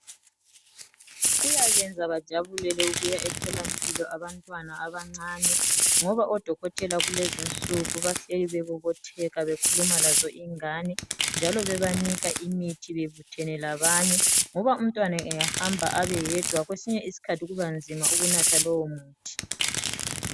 Kuyabenza bajabulele ukuya etholampilo abantwana abancane, ngoba odokotela, kulezi insuku bahleli bebobotheka bekhuluma lazo ingane, njalo bebanika imithi, bebuthene labanye, ngoba umntwana angahamba abeyedwa, kwesinye isikhathi kubanzima ukunatha lowomuthi.